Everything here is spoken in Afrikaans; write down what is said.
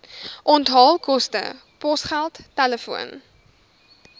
onthaalkoste posgeld telefoon